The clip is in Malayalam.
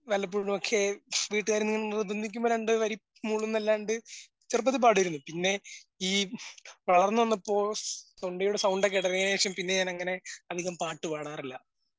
വല്ലപ്പോഴുമൊക്കെ വീട്ടുകാരിൽ നിന്ന് നിർബന്ധിക്കുമ്പോൾ രണ്ടുവരി മൂളുംന്നല്ലാണ്ട് ചെറുപ്പത്തിൽ പാടിയിരുന്നു. പിന്നെ ഈ വളർന്ന് വന്നപ്പോൾ തൊണ്ടയുടെ സൗണ്ടൊക്കെ ഇടലേശം പിന്നെ ഞാനങ്ങനെ അധികം പാട്ടുപാടാറില്ല.